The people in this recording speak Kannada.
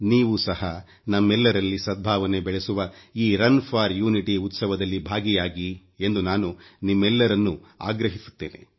ನೀವು ಸಹ ನಮ್ಮೆಲ್ಲರಲ್ಲಿ ಸದ್ಭಾವನೆ ಬೆಳೆಸುವ ಈ ರನ್ ಫೋರ್ ಯುನಿಟಿ ಉತ್ಸವದಲ್ಲಿ ಭಾಗಿಯಾಗಿ ಎಂದು ನಾನು ನಿಮ್ಮೆಲ್ಲರನ್ನೂ ಆಗ್ರಹಿಸುತ್ತೇನೆ